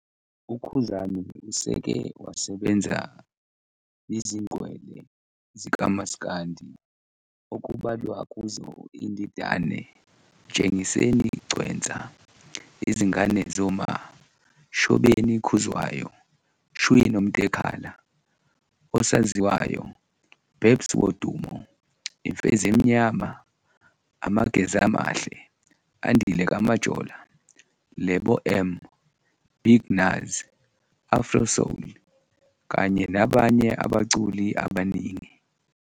UKhuzani useke wasebenza nizingqwele zikamas'kandi okubalwa kuzo iNdidane, Mtshengiseni Gcwensa, Izingane Zoma, Shobeni Khuzwayo, Shwi Nomtekhala, Osaziwayo, Babes Wodumo, Imfezemnyama, Amagez'Amahle, Andile kaMajola, Lebo M, Big Nuz, Afro Soul kanye nabanye abaculi abaningi.